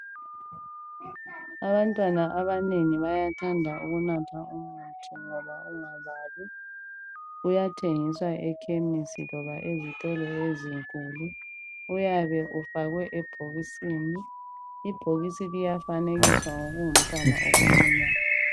Abantwana abanengi bayathanda ukunatha umuthi ngoba ungababi. Uyathengiswa ekhemisi loba ezitolo ezinkulu. Uyabe ufakwe ebhokisini. Ibhokisi liyafanekiswa ngokungumntwana okuncinyane.